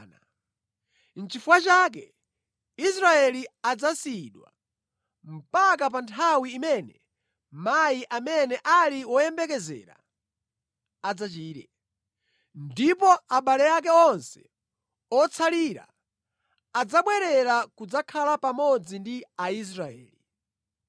Nʼchifukwa chake Israeli adzasiyidwa mpaka pa nthawi imene mayi amene ali woyembekezera adzachire. Ndipo abale ake onse otsalira adzabwerera kudzakhala pamodzi ndi Aisraeli.